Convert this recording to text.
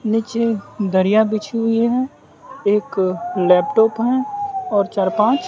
नीचे दरिया बिछी हुई हैं एक लैपटॉप हैं और चार पांच--